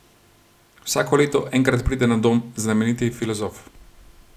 Vsako leto enkrat pride na dom znameniti filozof.